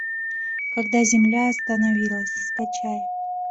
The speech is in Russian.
когда земля остановилась скачай